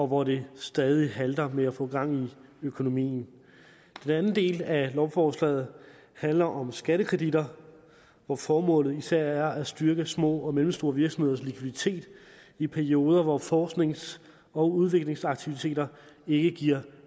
hvor det stadig halter med at få gang i økonomien den anden del af lovforslaget handler om skattekreditter hvor formålet især er at styrke små og mellemstore virksomheders likviditet i perioder hvor forsknings og udviklingsaktiviteter ikke giver